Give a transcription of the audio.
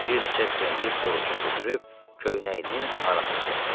Bir neçə kremli borucuq götürüb köynəyinin arasına soxdu.